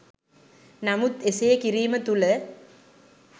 නමුත් එසේ කිරීම තුළ